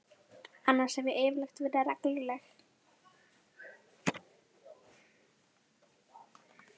Annars hef ég yfirleitt verið regluleg.